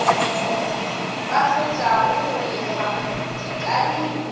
ba fetšago go lefa dikadimo